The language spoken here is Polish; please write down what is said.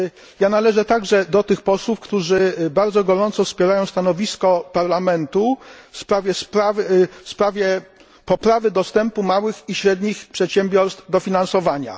Także należę do tych posłów, którzy bardzo gorąco wspierają stanowisko Parlamentu w sprawie poprawy dostępu małych i średnich przedsiębiorstw do finansowania.